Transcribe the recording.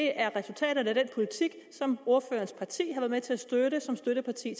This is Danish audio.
er resultaterne af den politik som ordførerens parti har været med til at støtte som støtteparti